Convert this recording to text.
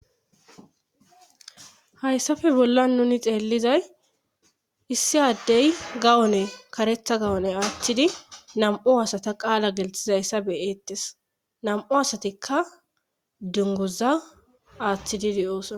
Hayssafe bolla nuni xeellizay issi addey gawone karetha gawone aaththidi nam7o asata qaala gelthizayssa beyettes nam7u asatikka dungoza aaththididi oosona.